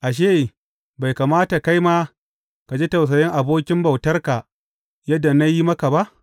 Ashe, bai kamata kai ma ka ji tausayin abokin bautarka yadda na yi maka ba?’